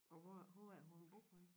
Og hvor hvor er det hun bor henne?